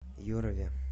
юрове